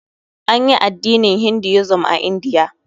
Anyi addinin Hinduism a Indiya.